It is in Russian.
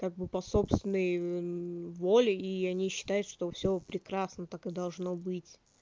как бы по собственной воле и они считают что всё прекрасно так и должно быть